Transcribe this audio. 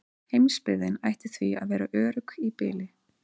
Heimsbyggðin ætti því að vera örugg í bili.